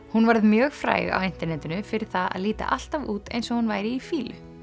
hún varð mjög fræg á internetinu fyrir það að líta alltaf út eins og hún væri í fýlu